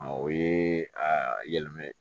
O ye a yɛlɛma